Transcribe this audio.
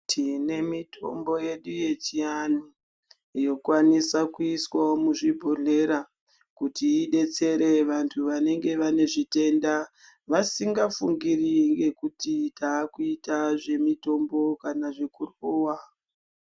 Tine mitombo yedu yechianhu yokwanisawo kuiswawo muzvibhodhlera ,kuti idetsere vanhu vanenge vane zvitenda vasingafungiri ngekuti taakuita zvemitombo kana zvekurowa.